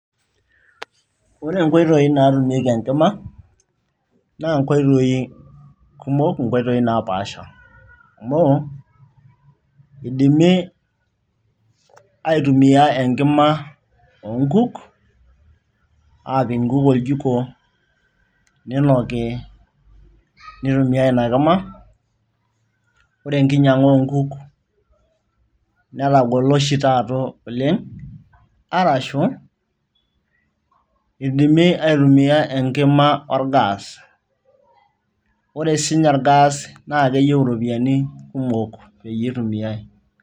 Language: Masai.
ore inkoitoi naatumieki enkima naa inkoitoi kumok nkoitoi napaasha amu idimi aitumia enkima oonkuk aapik inkuk oljiko ninoki nitumiay ina kima ore enkinyiang'a oonkuk netagolo oshi taata oleng arashu idimi aitumia enkima or gas ore sininye or gas naa keyieu siininye iropiyiani kumok piitumiai.